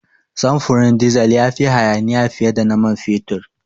Samfurin dizal ya fi hayaniya fiye da na man fetur.